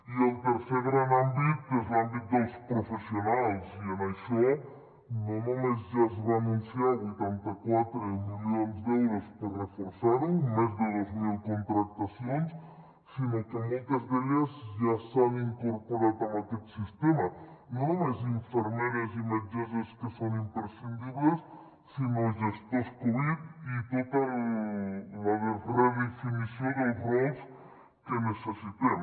i el tercer gran àmbit és l’àmbit dels professionals i en això no només ja es van anunciar vuitanta quatre milions d’euros per reforçar lo més de dos mil contractacions sinó que moltes d’elles ja s’han incorporat amb aquest sistema no només infermeres i metgesses que són imprescindibles sinó gestors covid i tota la redefinició dels rols que necessitem